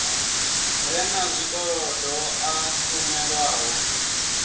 re na zwikolodo a kunḓelwaho